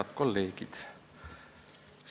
Head kolleegid!